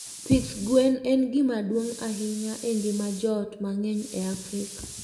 Pidh gwen en gima duong' ahinya e ngima joot mang'eny e Afrika.